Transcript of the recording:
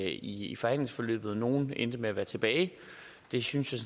i i forhandlingsforløbet nogle endte med at være tilbage det synes jeg